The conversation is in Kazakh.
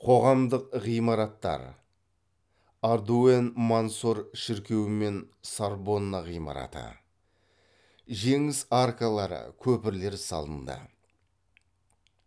қоғамдық ғимараттар ардуэн мансор шіркеуімен сорбонна ғимараты жеңіс аркалары көпірлер салынды